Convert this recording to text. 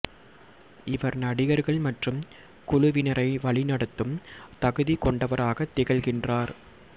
இவர் நடிகர்கள் மற்றும் குழுவினரை வழி நடத்தும் தகுதி கொண்டவராக திகழ்கின்றார்